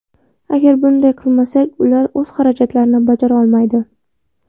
Agar bunday qilmasak, ular o‘z xarajatlarini bajarolmaydi.